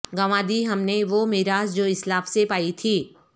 گنوادی ہم نے وہ میراث جو اسلاف سے پائی تھی